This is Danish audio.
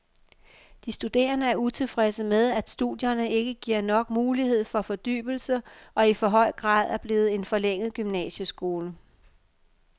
De studerende er utilfredse med, at studierne ikke giver nok mulighed for fordybelse og i for høj grad er blevet en forlænget gymnasieskole.